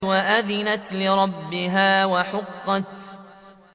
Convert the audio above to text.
وَأَذِنَتْ لِرَبِّهَا وَحُقَّتْ